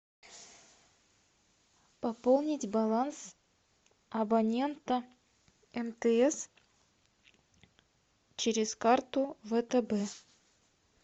пополнить баланс абонента мтс через карту втб